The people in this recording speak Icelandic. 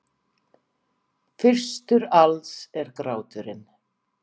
Fyrstur alls er gráturinn.